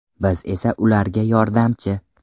Biz esa ularga yordamchi.